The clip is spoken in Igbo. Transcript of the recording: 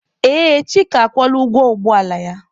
Ee, Chika akwụọla ụgwọ ụgbọ ala ya.